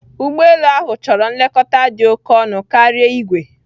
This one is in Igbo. Ụgbọ elu ahụ chọrọ nlekọta dị oke ọnụ karia igwe.